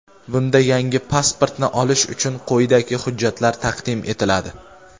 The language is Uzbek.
Bunda yangi pasportni olish uchun quyidagi hujjatlar taqdim etiladi:.